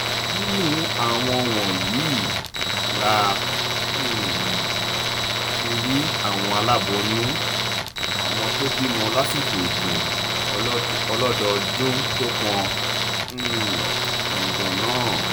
nínú àwọn wọ̀nyí la um ti rí àwọn aláboyún àwọn tó bímọ lásìkò ètò ọlọ́dọọdún tó pọn um dandan náà